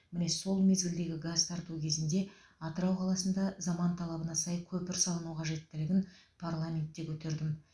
міне сол мезгілдегі газ тарту кезінде атырау қаласында заман талабына сай көпір салыну қажеттілігін парламентте көтердім